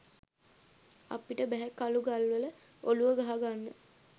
අපිට බැහැ කළු ගල්වල ඔළුව ගහා ගන්න